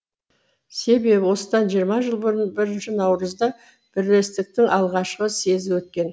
себебі осыдан жиырма жыл бұрын бірінші наурызда бірлестіктің алғашқы съезі өткен